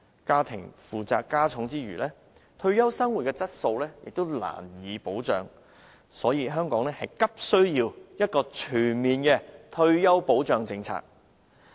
家庭負擔加重之餘，退休生活質素亦難以保障，所以，香港急需要全面的退休保障政策。